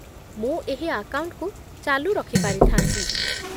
ମୁଁ ଏହି ଆକାଉଣ୍ଟକୁ ଚାଲୁ ରଖିପାରିଥାନ୍ତି